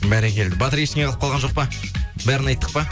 бәрекелді батыр ештеңе қалып қалған жоқ па бәрін айттық па